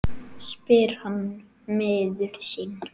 spyr hann miður sín.